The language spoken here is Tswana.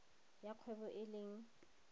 ya kgwebo e leng